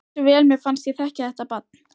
Hversu vel mér fannst ég þekkja þetta barn.